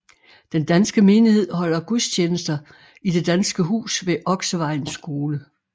Den danske menighed holder gudstjenester i det Danske Hus ved Oksevejens Skole